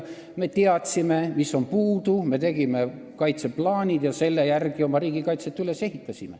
Me teadsime, mis on puudu, me tegime kaitseplaanid ja selle järgi ehitasime oma riigikaitset üles.